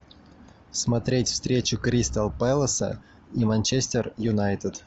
смотреть встречу кристал пэласа и манчестер юнайтед